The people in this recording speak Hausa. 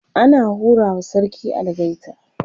ana hura wa sarki algaita